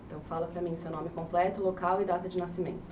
Então fala para mim seu nome completo, local e data de nascimento.